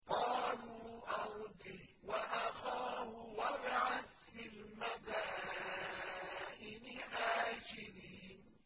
قَالُوا أَرْجِهْ وَأَخَاهُ وَابْعَثْ فِي الْمَدَائِنِ حَاشِرِينَ